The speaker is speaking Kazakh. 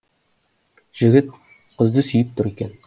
жігіт қызды сүйіп тұр екен